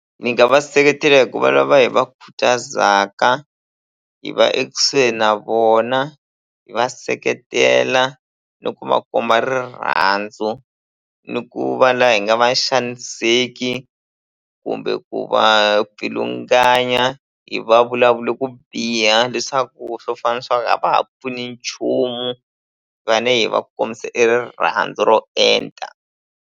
Ni nga va seketela hi ku va lava hi va khutazaka hi va ekusuhi na vona hi va seketela no ku va komba rirhandzu ni ku va la hi nga va xaniseki kumbe ku va pfilunganya hi va vulavula ku biha leswaku swo fana na swa ku a va ha pfuni nchumu fane hi va kombisa e rirhandzu ro enta.